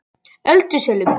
Öldusölum